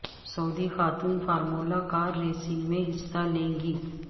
سعودی خاتون formula car racing میں حصہ لیں گی